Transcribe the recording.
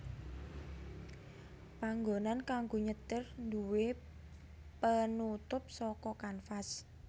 Panggonan kanggo nyetir nduwé penutup saka kanvas